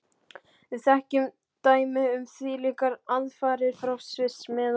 Við þekkjum dæmi um þvílíkar aðfarir frá Sviss, meðan